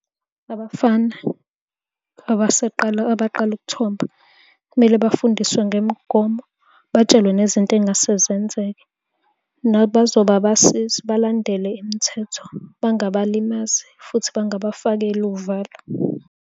Abafana abaseqala abaqala ukuthoba, kumele bafundiswe ngemigomo, batshelwe nezinto ey'ngase zenzeke. Nabazoba abasizi balandele imithetho, bangabalimazi, futhi bangabafakeli uvalo.